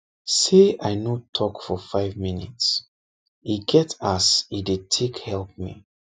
say i no talk for five minutes e get as e take dey help me